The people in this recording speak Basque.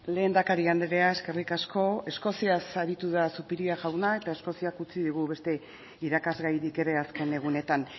lehendakari andrea eskerrik asko eskoziaz aritu da zupiria jauna eta eskoziak utzi digu beste irakasgairik ere azken egunetan